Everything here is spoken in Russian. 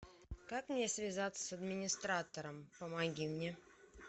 как мне связаться с администратором помоги мне